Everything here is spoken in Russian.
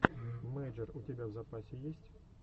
мэйджер у тебя в запасе есть